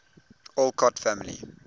alcott family